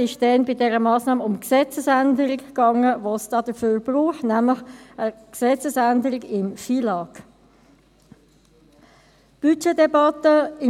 Es ging damals bei dieser Massnahme um die Gesetzesänderung, die es dafür braucht, nämlich eine Änderung des Gesetzes über den Finanz- und Lastenausgleich (FILAG).